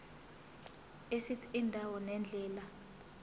esithi indawo nendlela